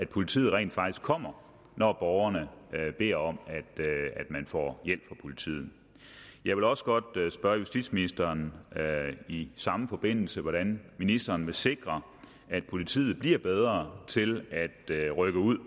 politiet rent faktisk kommer når borgerne beder om at få hjælp fra politiet jeg vil også godt spørge justitsministeren i samme forbindelse hvordan ministeren vil sikre at politiet bliver bedre til at rykke ud